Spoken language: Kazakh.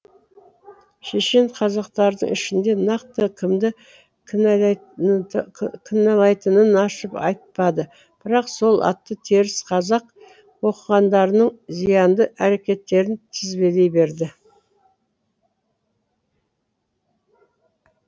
шешен қазақтардың ішінде нақты кімді кінәлайтынын ашып айтпады бірақ сол аты теріс қазақ оқығандарының зиянды әрекеттерін тізбелей берді